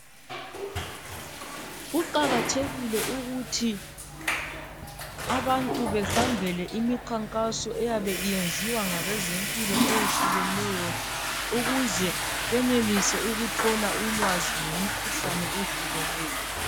kuqakathekile ukuthi abantu behambele imikhankaso eyabe iyenziwa ngabezempilo eyehlukeneyo ukuze benelise ukuthola ulwazi ngemikhuhlane eyehlukeneyo